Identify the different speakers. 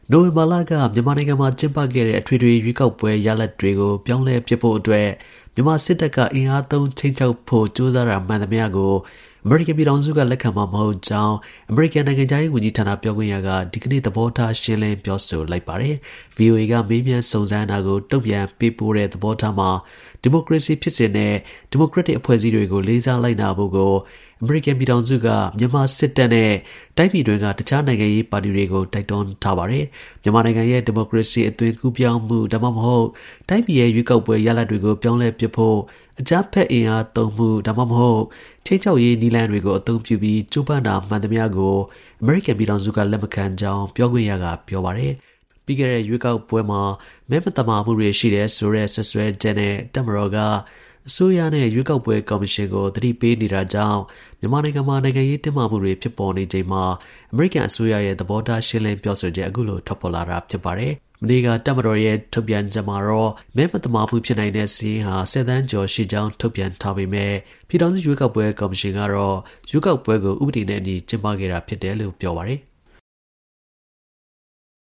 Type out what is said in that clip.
Speaker 1: နိုဝင်ဘာလက မြန်မာနိုင်ငံမှာ ကျင်းပခဲ့တဲ့ အထွေထွေ ရွေးကောက်ပွဲ ရလဒ်ကို ပြောင်းလဲပစ်ဖို့အတွက်မြန်မာစစ်တပ်ကအင်အားသုံး ခြိမ်းခြောက်ဖို့ ကြိုးစားတာ မှန်သမျှ အမေရိကန်ပြည်ထောင်စုက လက်ခံမှာ မဟုတ်ကြောင်း အမေရိကန် နိုင်ငံခြားရေးဝန်ကြီး ဌာန ပြောခွင့်ရက ဒီကနေ့ သဘောထားရှင်းလင်း ပြောဆိုလိုက်ပါတယ်။ VOA ကမေးမြန်းစုံစမ်းတာကိုတုန့်ပြန်ပေးပို့တဲ့သဘောထားမှာ - ဒီမိုကရေစီ ဖြစ်စဉ်နဲ့ ဒီမိုကရက်တစ် အဖွဲ့အစည်းတွေကို လေးစား လိုက်နာဖို့ကို အမေရိကန် ပြည်ထောင်စုက မြန်မာစစ်တပ် နဲ့ တိုင်းပြည်တွင်းက တစ်ခြား နိုင်ငံရေးပါတီတွေကို တိုက်တွန်းထားပါတယ်။ မြန်မာနိုင်ငံရဲ့ ဒီမိုကရေစီ အသွင်ကူးပြောင်းမှု ဒါမှမဟုတ် တိုင်းပြည်ရဲ့ ရွေးကောက်ပွဲ ရလဒ်တွေကို ပြောင်းလဲပစ်ဖို့ အင်အားသုံးဒါမှမဟုတ် ခြိမ်းခြောက်ရေးနည်းလမ်းတွေကို အသုံးပြုဖို့ ကြိုးပမ်းတာ မှန်သမျှကို အမေရိကန် ပြည်ထောင်စုက လက်မခံကြောင်း ပြောခွင့်ရက ပြောပါတယ်။ ပြီးခဲ့တဲ့ရွေးကောက်ပွဲမှာ မဲမသမာမှုတွေ ရှိနိုင်တယ်ဆိုတဲ့ စွပ်စွဲချက်နဲ့ တပ်မတော်က အစိုးရနဲ့ ရွေးကောက်ပွဲ ကော်မရှင်ကို သတိ ပေးနေတာကြောင့် မြန်မာနိုင်ငံမှာ နိုင်ငံရေးတင်းမာမှုတွေ ဖြစ်ပေါ်နေတာနဲ့ ပတ်သက်လို့ အမေရိကန်နိုင်ငံခြားရေးဝန်ကြီးဌာနရဲ့ သဘောထားကို VOA က မေးမြန်းရာမှာ အခုလို ပြန်လည်ဖြေကြားလိုက်တာပါ ။ မနေ့က တပ်မတော်ရဲ့ ထုတ်ပြန်ချက်မှာတော့ မဲမသမာမှုဖြစ်နိုင်တဲ့စာရင်းဟာ ၁၀ သန်းကျော်ရှိကြောင်း ထုတ်ပြန်ထားပေးမယ့် ပြည်ထောင်စု ရွေးကောက်ပွဲ ကော်မရှင်ကတော့ ရွေးကောက်ပွဲကို ဥပဒေနဲ့အညီ ကျင်းပခဲ့တာဖြစ်ကြောင်း ပြောပါတယ်။